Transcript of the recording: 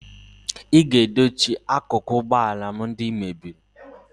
ị ga-edochi akụkụ ụgbọ ala m ndị ị mebiri